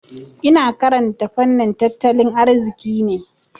Ina karanta fannin tattalin arziki ne.